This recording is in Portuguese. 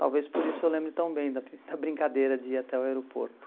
Talvez por isso eu lembre tão bem da da brincadeira de ir até o aeroporto.